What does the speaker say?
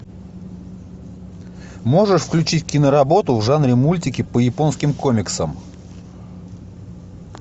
можешь включить киноработу в жанре мультики по японским комиксам